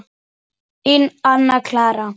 Þín, Anna Clara.